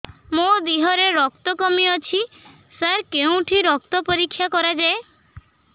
ମୋ ଦିହରେ ରକ୍ତ କମି ଅଛି ସାର କେଉଁଠି ରକ୍ତ ପରୀକ୍ଷା କରାଯାଏ